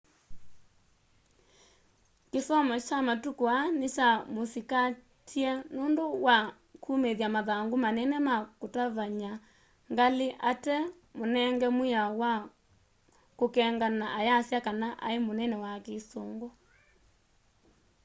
kĩsomo kya matũkũ aa nĩkya mũsĩkatĩe nũndũ was kũmĩthya mathangũ manene ma kũtavanya ngalĩ ate mũnenge mwĩao na kũkeng'ana ayasya kana aĩ mũnene wa kĩsũngũ